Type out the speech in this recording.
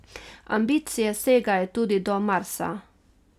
Ambicije segajo tudi do Marsa.